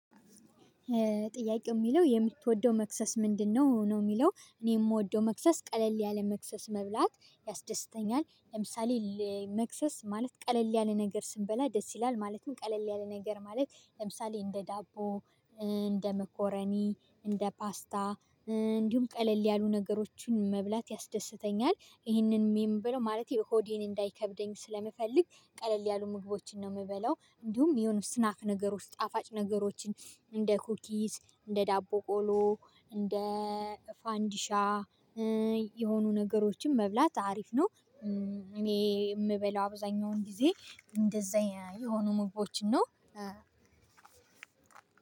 ጥያቄው የሚለው የምትወደው መክሰስ ምንድነው? ነው የሚለው እኔ የምወደው መክሰስ ቀለል ያለ መክሰስ መብላት ያስደስተኛል። ለምሳሌ መክሰስ ማለት ቀለል ያለ ነገር ስንበላ ደስ ይላል ማለትም ቀለል ያለ ነገር ማለት ለምሳሌ እንደ ዳቦ እንደ መኮረኒ እንደ ፓስታ እንዲሁም ቀለል ያሉ ነገሮችን መብላት ያስደስተኛል። ይሄንንም የምበላው ማለት የሆዴን እንዳይከብደኝ ስለምፈልግ ቀለል ያሉ ምግቦችን ነው የምበላው። እንዲሁም የሆነ ስናክ ነገሮች ጣፋጭ ነገሮችን እንደ ኩኪስ እንደ ዳቦ ቆሎ እንደ ፋንዲሻ የሆኑ ነገሮችን መብላት አሪፍ ነው። እኔ የምበላው አብዛኛውን ጊዜ እንደዛ የሆኑ ምግቦችን ነው።